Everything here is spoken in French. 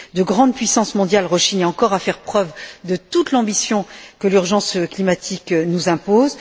De grandes puissances mondiales rechignent encore à faire preuve de toute l'ambition que l'urgence climatique nous impose.